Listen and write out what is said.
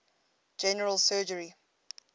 general surgery